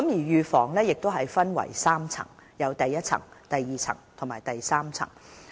預防工作亦分為3層，包括第一、第二和第三層。